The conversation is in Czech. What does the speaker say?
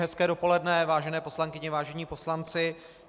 Hezké dopoledne, vážené poslankyně, vážení poslanci.